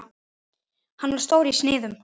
Hann var stór í sniðum.